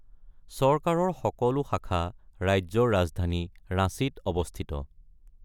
চৰকাৰৰ সকলো শাখা ৰাজ্যৰ ৰাজধানী ৰাঁচীত অৱস্থিত।